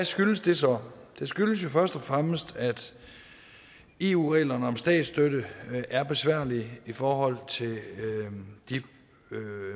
skyldes det så det skyldes først og fremmest at eu reglerne om statsstøtte er besværlige i forhold til de